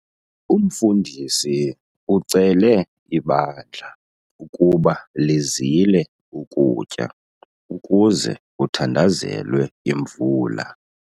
Umfundisi ucele ibandla ukuba lizile ukutya ukuze kuthandazelwe imvula.